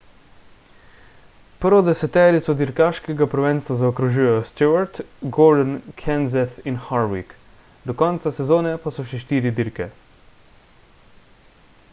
prvo deseterico dirkaškega prvenstva zaokrožujejo stewart gordon kenseth in harvick do konca sezone pa so še štiri dirke